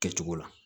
Kɛcogo la